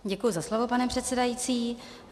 Děkuji za slovo, pane předsedající.